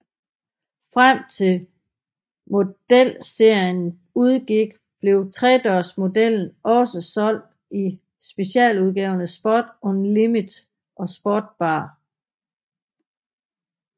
Frem til modelserien udgik blev tredørsmodellen også solgt i specialudgaverne Sport Unlimited og Sport BAR